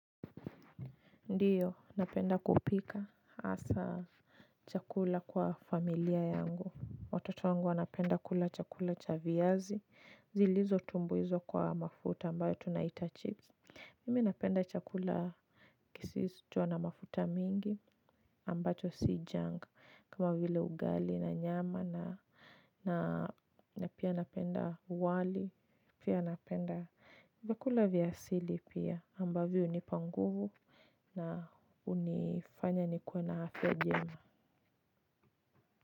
Ndiyo, napenda kupika hasa chakula kwa familia yangu. Watoto wangu wanapenda kula chakula cha viazi. Zilizotumbuizwa kwa mafuta ambayo tunaita chips. Mimi napenda chakula kisisu. Tiwa na mafuta mingi ambacho si janga. Kama vile ugali na nyama na pia napenda wali. Pia napenda vyakula vya asili pia ambayo hunipa nguvu. Na hunifanya nikuwe na afya njema.